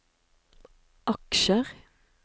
aksjer